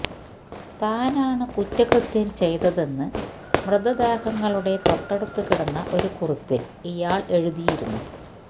താനാണ് കുറ്റകൃത്യം ചെയ്തതെന്ന് മൃതദേഹങ്ങളുടെ തൊട്ടടുത്ത് കിടന്ന ഒരു കുറിപ്പില് ഇയാള് എഴുതിയിരുന്നു